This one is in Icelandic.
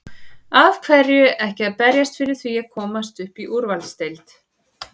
Af hverju ekki að berjast fyrir því að komast upp í úrvalsdeild?